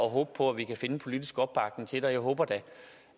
og håbe på at vi kan finde en politisk opbakning til løsninger jeg håber da